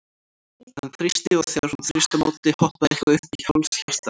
Hann þrýsti, og þegar hún þrýsti á móti, hoppaði eitthvað upp í háls hjartað?